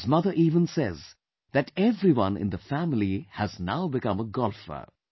His mother even says that everyone in the family has now become a golfer